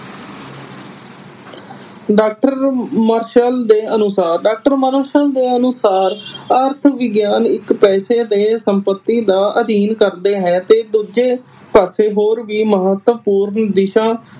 doctor Marshall ਦੇ ਅਨੁਸਾਰ doctor Marshall ਅਨੁਸਾਰ ਅਰਥ ਵਿਗਿਆਨ ਇਕ ਪੈਸੇ ਦੇ ਸੰਪਤੀ ਦਾ ਅਧੀਨ ਕਰਦੇ ਹੈ ਤੇ ਦੂਜੇ ਪਾਸੇ ਹੋਰ ਵੀ ਮਹੱਤਵਪੂਰਨ ਦਿਸ਼ਾ